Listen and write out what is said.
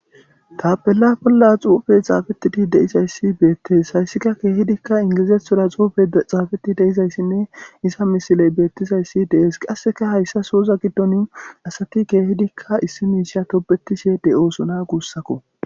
Tapella bolla xuufey xaafetidi deizayssi beettees hayssikka keehidikka ingizeethoda xuufey xaafeti deizayssinne isa misiley beettizayssi dees qasseka hayssa souza giddon asati keehidikka issi miisha tobetishe dey oosuna guussakko.